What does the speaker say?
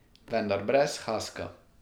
Vendar brez haska.